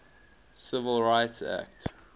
civil rights act